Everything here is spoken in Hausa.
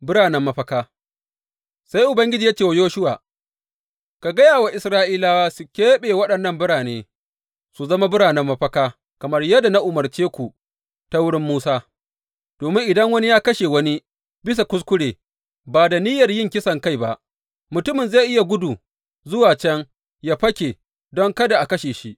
Biranen mafaka Sai Ubangiji ya ce wa Yoshuwa, Ka gaya wa Isra’ilawa su keɓe waɗansu birane su zama biranen mafaka kamar yadda na umarce ku ta wurin Musa, domin idan wani ya kashe wani bisa kuskure ba da niyyar yin kisankai ba, mutumin zai iya gudu zuwa can yă fake don kada a kashe shi.